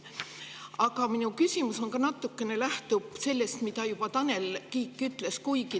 Aga minu küsimus natukene lähtub sellest, mida juba Tanel Kiik ütles.